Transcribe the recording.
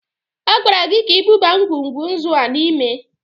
A gwara gị ka i buba ngwugwu nzu a n'ime!